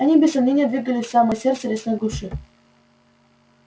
они без сомнения двигались в самое сердце лесной глуши